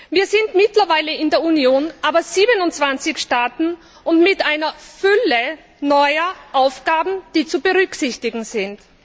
Wir sind in der Union mittlerweile aber 27 Staaten und mit einer Fülle neuer Aufgaben, die zu berücksichtigen sind.